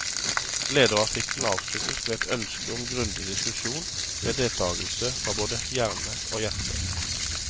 Lederartikkelen avsluttes med et ønske om en grundig diskusjon, med deltagelse fra både hjerne hjerte.